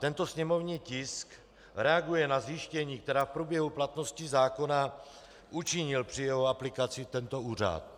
Tento sněmovní tisk reaguje na zjištění, která v průběhu platnosti zákona učinil při jeho aplikaci tento úřad.